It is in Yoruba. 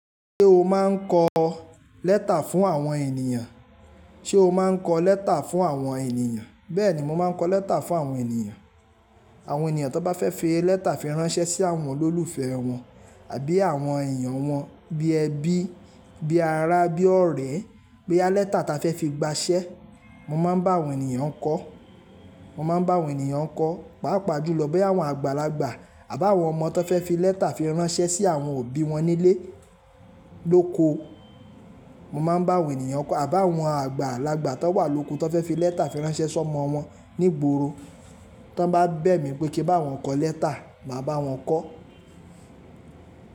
Ṣé o máa ń kọ lẹ́tà fún àwọn ènìyàn? Ṣé o máa ń kọ lẹ́tà fún àwọn ènìyàn? Bẹ́ẹ̀ni, mo máa ń kọ lẹ́tà fún àwọn ènìyàn. Àwọn ènìyàn tó bá fẹ́ fi lẹ́tà fi ránṣẹ́ sí àwọn olólùfẹ́ wọn àbí àwọn èyàn wọn bí ẹbí, bí ará, bí ọ̀rẹ́, boya lẹ́ta ta fẹ́ fi gbaṣẹ́. Mo máa ń bá àwọn ènìyàn kọ́, mo máa ń bá àwọn ènìyàn kọ́, pàápàá jùlọ boya àwọn àgbàlagbà àbá àwọn ọmọ tó fẹ́ fi lẹ́tà fi ránṣẹ́ sí àwọn òbí wọn nílé lóko. Mo máa ń bá àwọn ènìyàn kọ́, àbá àwọn àgbàlagbà tó wà lóko tó fẹ́ fi lẹ́tà fi ránṣẹ́ sọ́mọ wọn ní ìgboro. Tí wọ́n bá bẹ̀ mí wí pé kí n bá wọn kọ lẹ́tà, màá bá wọn kọ́.